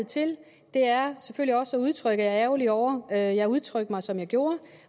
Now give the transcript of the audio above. til er selvfølgelig også at udtrykke at jeg er ærgerlig over at jeg udtrykte mig som jeg gjorde